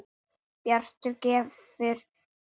Bjartur gefur út.